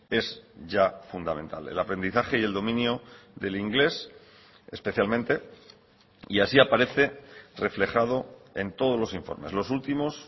es ya fundamental el aprendizaje y el dominio del inglés especialmente y así aparece reflejado en todos los informes los últimos